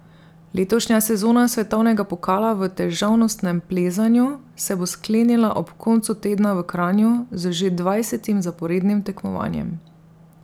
Letošnja sezona svetovnega pokala v težavnostnem plezanju se bo sklenila ob koncu tedna v Kranju z že dvajsetim zaporednim tekmovanjem.